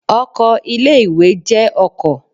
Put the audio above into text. Ọkọ̀ ilé ìwé jẹ́ ọkọ̀.